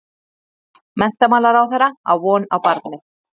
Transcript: Menntamálaráðherra á von á barni